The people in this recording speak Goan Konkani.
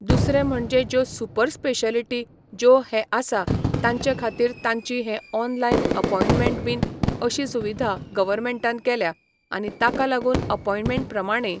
दुसरें म्हणजें ज्यो सुपर स्पेशलीटी ज्यो हे आसा तांचे खातीर तांची हे ऑनलायन अपॉइंटमेंट बीन अशी सुविधा गवर्नमेंटान केल्या आनी ताका लागुन अपॉइंटमेंट प्रमाणें